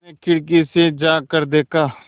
उसने खिड़की से झाँक कर देखा